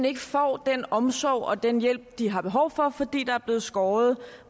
ikke får den omsorg og den hjælp de har behov for fordi der er blevet skåret